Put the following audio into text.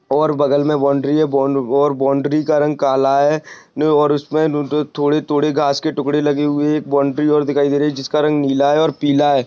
और बगल मे बाउंड्री है और औ बाउंड्री का रंग काला है और उसमे थोड़े-थोड़े घास के टुकड़े लगे हुए है एक बाउंड्री और दिखाई दे रही है जिसका रंग नीला है और पीला है।